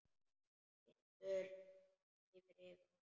Tindur gnæfir yfir.